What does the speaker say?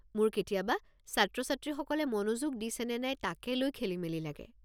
মোৰ কেতিয়াবা ছাত্ৰ-ছাত্ৰীসকলে মনোযোগ দিছে নে নাই তাকে লৈ খেলিমেলি লাগে।